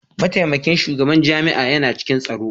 Mataimakin shugaban jami'a yana cikin taro.